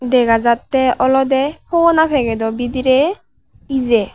dega jattey olodey fhogona packet o bidirey ijey.